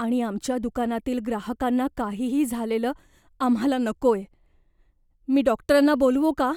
आणि आमच्या दुकानातील ग्राहकांना काहीही झालेलं आम्हाला नकोय. मी डॉक्टरांना बोलावू का?